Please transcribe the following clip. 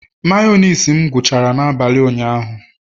Mayonezi m gwuchara n'abalị ụnyaahụ